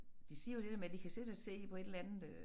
De siger jo det der med de kan sidde og se på et eller andet øh